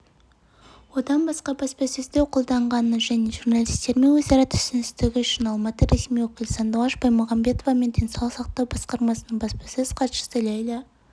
одан басқа баспасөзді қолдағаны және журналистермен өзара түсіністігі үшін алматы ресми өкілі сандуғаш баймұхамбетова мен денсаулық сақтау басқармасының баспасөз хатшысы лейла